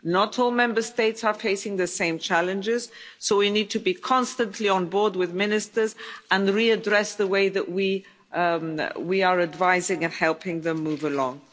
Not all Member States are facing the same challenges so we need to be constantly on board with ministers and readdress the way that we are advising and helping them move along.